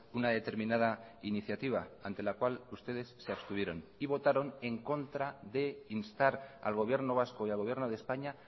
una determinada iniciativa ante la cual ustedes se abstuvieron y votaron en contra de instar al gobierno vasco y al gobierno de españa